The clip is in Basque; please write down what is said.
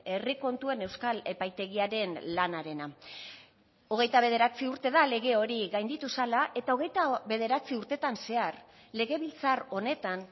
herri kontuen euskal epaitegiaren lanarena hogeita bederatzi urte da lege hori gainditu zela eta hogeita bederatzi urtetan zehar legebiltzar honetan